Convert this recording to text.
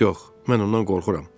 Yox, yox, mən ondan qorxuram.